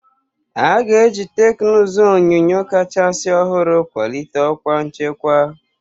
A ga-eji teknụzụ onyunyo kachasị ọhụrụ kwalite ọkwa nchekwa.